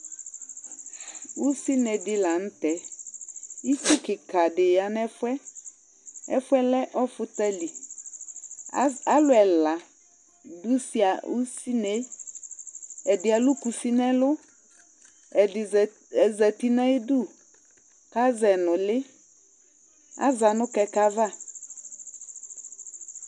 ussi Ne dila ntɛ ïthu kika di ya nɛfũẽ ɛfũɛ lẽ ɔfũtali as alũla dussia ussinẽ ɛdilu kussi nẽlũ ɛdi zati naidu azɛnulï aza nu kɛkɛ ava